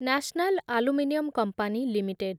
national aluminium company limited